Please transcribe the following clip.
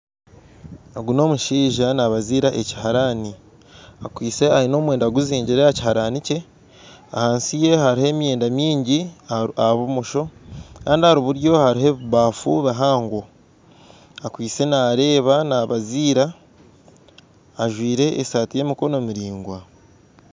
Ogu n'omushaija nabaazira ekiharaani, aine omwenda guzingire aha kihaarani kye, ahansi ye hariho emyenda maingi aha bumosho, kandi ahari buryo hariho ebibafu bihango, akwitse naareeba, nabaziira, ajwire esaati y'emikono miraigwa